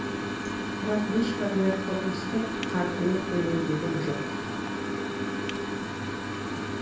бірақ ешқандай құрылыстың қарқыны төмендеген жоқ